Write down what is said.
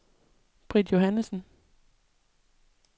Britt Johannessen